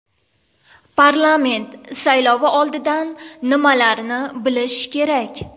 Parlament saylovi oldidan nimalarni bilish kerak?